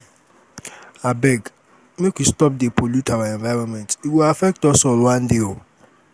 abeg make we stop dey pollute our environment e go affect us all one day.